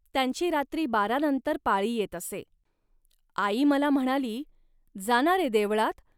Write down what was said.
त्यांची रात्री बारानंतर पाळी येत असे. आई मला म्हणाली, "जा ना रे देवळात